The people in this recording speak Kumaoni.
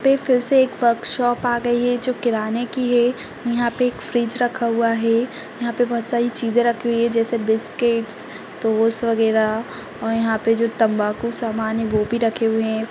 यहाँ पे फिर से एक वर्कशॉप आ गयी है जो किराने की है यहाँ पे एक फ्रिज रखा हुआ है यहाँ पे बहोत सारी चीज़े रखी हुई है जेसे बिस्किटस टोस वगेरा और यहाँ पे जो तम्बाकू सामान है वो भी रखे हुए हैं।